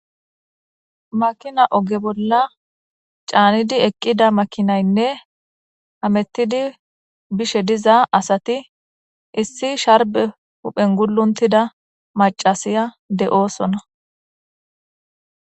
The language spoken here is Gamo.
Makina oge bolla caanidi eqqida makinaynne hametidi bishe diza asati issi sharbe huphen guluntida macasiya de'oosona.